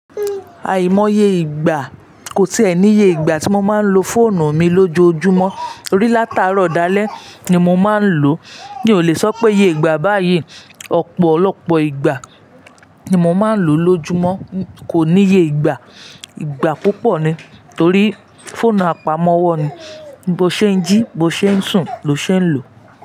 Àìmọye ìgbà, kò sí ẹni ye ìgbà tí mo máa ń lo fóònù mi lójoojúmọ́, orí látàárọ̀, ọ̀dalẹ̀ ni mo máa ń lò. Mi ò lè sọ́ pé iye ìgbà báyìí, ọ̀pọ̀lọpọ̀ ìgbà ni mo máa ń lò lójúmọ́. Kò níye ìgbà, ìgbà púpọ̀ ni, torí fóònù àpamọ́wọ́ ni, bó ṣe ń jí bó ṣe ń sùn ló ṣe ń lò.